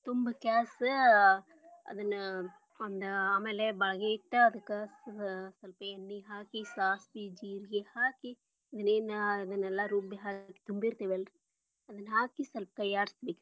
ತುಂಬಾ ಕ್ಯಾಸ ಅಹ್ ಅದನ್ನ ಒಂದ ಬಾಳಾಗಿ ಇಟ್ಟ ಅದಕ್ಕ ಸ್ವಲ್ಪ ಎಣ್ಣಿ ಹಾಕಿ ಸಾಸವಿ ಜೀರಗಿ ಹಾಕಿ ಇನ್ನೇನ ಅದನ್ನೆಲ್ಲಾ ರುಬ್ಬಿ ತುಂಬಿರತೆವಲ್ಲರಿ ಅದನ್ನ ಹಾಕಿ ಸ್ವಲ್ಪ ಕೈಯಾಡಿಸಬೇಕರೀ.